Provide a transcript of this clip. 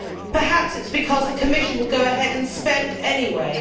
Perhaps it is because the Commission will go ahead and spend anyway.